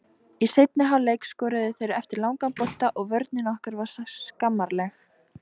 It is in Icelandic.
Í seinni hálfleik skoruðu þeir eftir langan bolta og vörnin okkar var skammarleg.